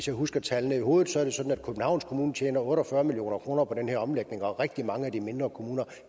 jeg husker tallene i hovedet er det sådan at københavns kommune tjener otte og fyrre million kroner på den her omlægning og at rigtig mange af de mindre kommuner